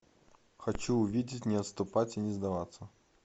хочу увидеть не отступать и не сдаваться